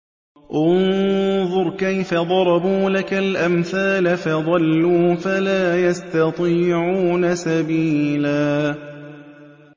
انظُرْ كَيْفَ ضَرَبُوا لَكَ الْأَمْثَالَ فَضَلُّوا فَلَا يَسْتَطِيعُونَ سَبِيلًا